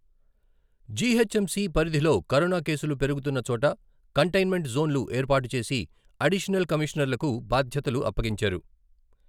GHMC పరిధిలోకరోనా కేసులు పెరుగుతున్న చోట కంటైన్మెంట్ జోన్లు ఏర్పాటు చేసి అడిషనల్ కమిషనర్లకు బాధ్యతలు అప్పగించారు.